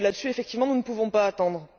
Effectivement, nous ne pouvons pas attendre.